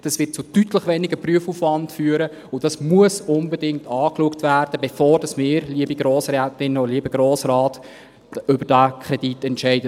Dies wird zu deutlich weniger Prüfaufwand führen, und dies muss unbedingt angeschaut werden, bevor wir, liebe Grossrätinnen und Grossräte, über diesen Kredit entscheiden.